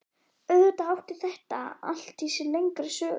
Auðvitað átti þetta allt sér lengri sögu.